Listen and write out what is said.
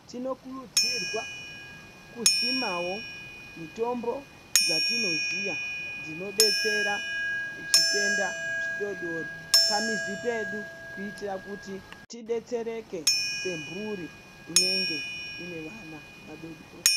Tinokurudzirwa kusimawo mitombo dzatinoziya dzinodetsera zvitenda zvidodori pamizi pedu, kutiyira kuti tidetsereke semburi inenge inevana vadodori.